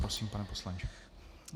Prosím, pane poslanče.